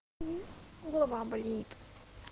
голова болит